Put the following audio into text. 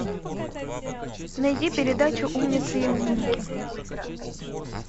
найди передачу умницы и умники